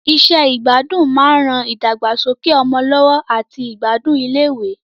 Iṣẹ́ ìgbádùn máa ń ran ìdàgbàsókè ọmọ lọ́wọ́ àti ìgbádùn iléèwé